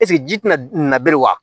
Eseke ji tɛna na bere wa